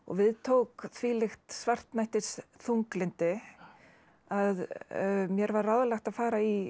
við tók þvílíkt svartnættis þunglyndi að mér var ráðlagt að fara í